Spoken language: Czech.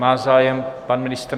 Má zájem pan ministr?